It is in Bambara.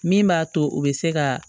Min b'a to u bɛ se ka